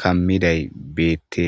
kammiday beette.